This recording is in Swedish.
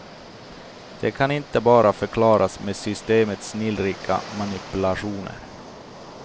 Det kan inte bara förklaras med systemets snillrika manipulationer.